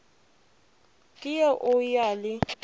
ke re o ya le